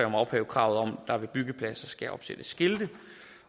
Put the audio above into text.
om at ophæve kravet om at der ved byggepladser skal opsættes skilte